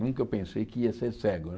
Nunca eu pensei que ia ser cego, né?